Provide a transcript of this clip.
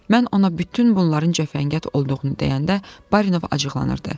Mən ona bütün bunların cəfəngiyat olduğunu deyəndə Barinov acıqlanırdı.